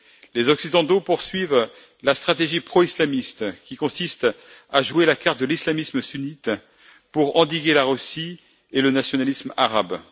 Les Occidentaux poursuivent la stratégie pro islamiste, qui consiste à jouer la carte de l'islamisme sunnite pour endiguer la Russie et le nationalisme arabe.